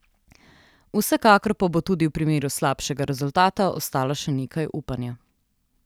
Vsekakor pa bo tudi v primeru slabšega rezultata ostalo še nekaj upanja.